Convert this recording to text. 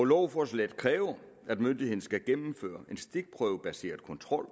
lovforslaget kræver at myndigheden skal gennemføre en stikprøvebaseret kontrol